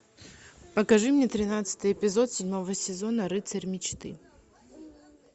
покажи мне тринадцатый эпизод седьмого сезона рыцарь мечты